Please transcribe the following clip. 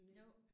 Jo